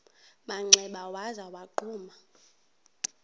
manxeba waza wagquma